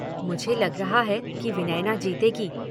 "मुझे लग रहा है कि विनयना जीतेगी।